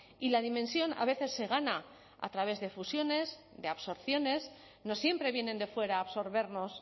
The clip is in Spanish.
y la dimensión a veces se gana a través de fusiones de absorciones no siempre vienen de fuera a absorbernos